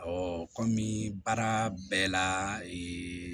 kɔmi baara bɛɛ la